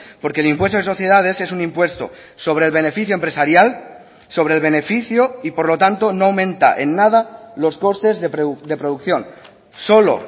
porque el impuesto de sociedades es un impuesto sobre el beneficio empresarial sobre el beneficio y por lo tanto no aumenta en nada los costes de producción solo